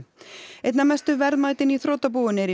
einna mestu verðmætin í þrotabúinu eru í